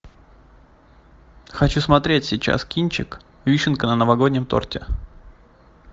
хочу смотреть сейчас кинчик вишенка на новогоднем торте